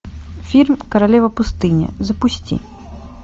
фильм королева пустыни запусти